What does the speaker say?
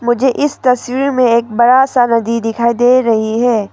मुझे इस तस्वीर में एक बड़ा सा नदी दिखाई दे रही है।